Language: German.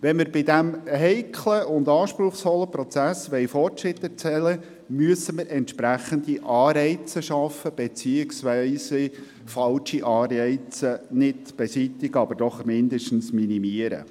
Wenn man bei diesem heiklen und anspruchsvollen Prozess Fortschritte erzielen will, muss man entsprechende Anreize schaffen beziehungsweise falsche Anreize nicht beseitigen, aber zumindest minimieren.